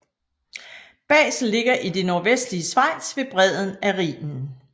Basel ligger i det nordvestlige Schweiz ved bredden af Rhinen